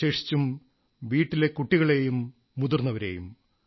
വിശേഷിച്ചും വീട്ടിലെ കുട്ടികളെയും മുതിർന്നവരെയും